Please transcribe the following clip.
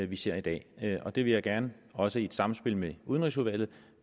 vi ser i dag det det vil jeg gerne også i et samspil med udenrigsudvalget